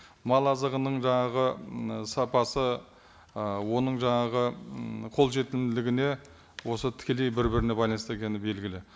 мал азығының жаңағы мына сапасы ы оның жаңағы ммм қолжетімділігіне осы тікелей бір біріне байланысты екені белгілі